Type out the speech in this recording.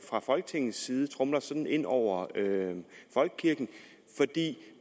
fra folketingets side tromler sådan ind over folkekirken